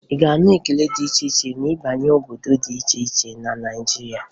Ị ga-anụ ekele dị iche iche ma ị banye obodo dị iche iche na Naịjirịa.